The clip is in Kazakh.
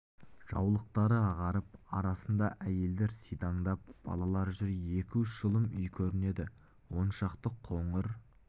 жаулықтары ағарып арасында әйелдер сидаңдап балалар жүр екі-үш жұлым үй көрінеді он шақты қоңыр